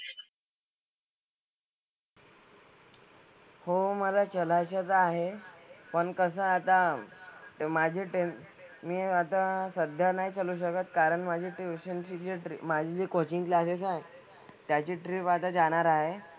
हो मला चलायचं तर आहे. पण कसं आहे आता माझे टेन मी आता सध्या नाही चलू शकत कारण माझी tuition ची जी माझी जी coaching classes आहेत त्याची trip आता जाणार आहे.